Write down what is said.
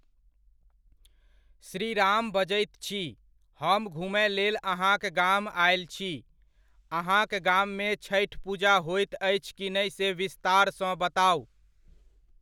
श्रीराम बजैत छी, हम घुमय लेल अहाँक गाम आयल छी। अहाँक गाममे छठि पूजा होइत अछि की नहि से विस्तार सँ बताउ।